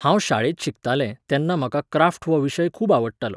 हांव शाळेंत शिकतालें, तेन्ना म्हाका क्राफ्ट हो विशय खूब आवडटालो.